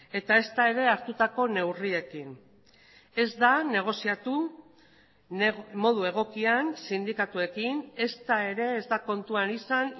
eta ezta ere hartutako neurriekin ez da negoziatu modu egokian sindikatuekin ezta ere ez da kontuan izan